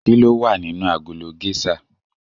Kilowa nínú agolo géṣà?